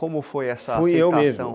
Como foi essa aceitação? Foi o medo.